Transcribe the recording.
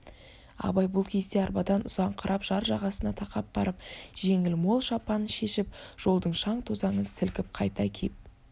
абай бұл кезде арбадан ұзаңқырап жар жағасына тақап барып жеңіл мол шапанын шешіп жолдың шаң-тозаңын сілкіп қайта киіп